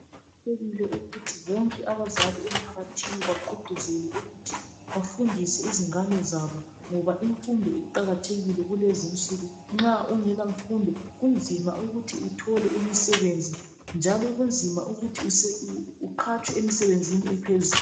Kufanele ukuthi bonke abazali emphakathini bagqugquzele ukuthi bafundise izingane zabo ngoba imfundo iqakathekile kulezinsuku nxa ungela mfundo njalo kunzima ukuthi uthole imisebenzi njalo kunzima ukuthi uqhatshwe emsebenzini ephezulu.